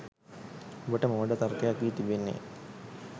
ඔබට මෝඩ තර්කයක් වී තිබෙන්නේ